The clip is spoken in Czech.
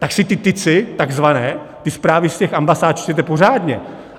Tak si ty ticy takzvané, ty zprávy z těch ambasád, čtěte pořádně.